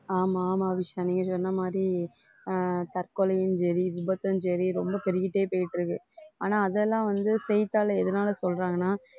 ஆமா ஆமா அபிஷா நீ சொன்ன மாதிரி அஹ் தற்கொலையும் சரி விபத்தும் சரி ரொம்ப பெருகிட்டே போயிட்டு இருக்கு ஆனா அதெல்லாம் வந்து செய்தித்தாள எதனால சொல்றாங்கன்னா